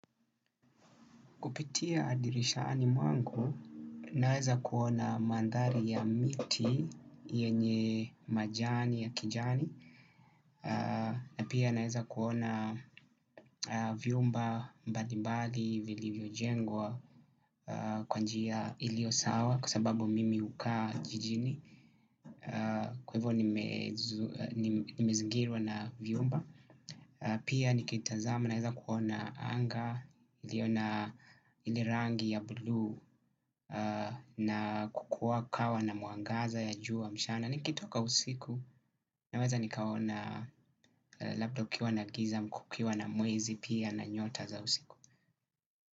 Kupitia dirishani mwangu, naeza kuona mandhari ya miti yenye majani ya kijani. Na pia naeza kuona vyumba mbali mbali vilivyojengwa kwa njia iliyo sawa kwa sababu mimi hukaa jijini. Kwa hivyo nimezingirwa na vyumba. Pia nikitazama naweza kuona anga iliyo na ile rangi ya bluu na kukuwa kawa na mwangaza ya juwa mchana nikitoka usiku naweza nikaona labda ukiwa na giza ama kukiwa na mwezi pia na nyota za usiku.